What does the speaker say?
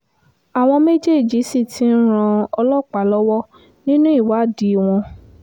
àwọn méjèèjì sì ti ń ran ọlọ́pàá lọ́wọ́ nínú ìwádìí wọn